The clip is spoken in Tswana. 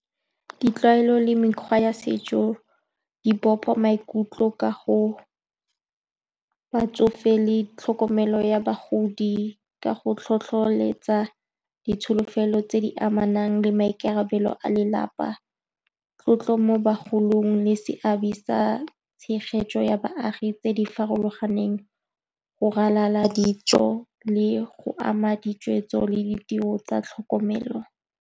Ditlwaelo le mekgwa ya setso di bopa maikutlo ka go batsofe le tlhokomelo ya bagodi ka go tlhotlholetsa ditsholofelo tse di amanang le maikarabelo a lelapa, tlotlo mo bagolong le seabe sa tshegetso ya baagi tse di farologaneng. Go ralala dijo le go ama ditshwetso le ditiro tsa tlhokomelo.